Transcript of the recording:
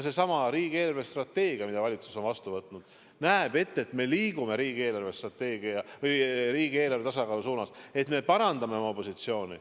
Seesama riigi eelarvestrateegia, mille valitsus on vastu võtnud, näeb ette, et me liigume riigieelarve tasakaalu suunas, me parandame oma positsiooni.